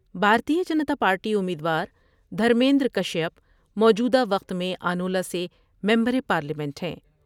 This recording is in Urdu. بھارتیہ جنتا پارٹی امید وار دھرمیندرکشیپ موجودہ وقت میں آنولہ سے ممبر پارلیمنٹ ہیں ۔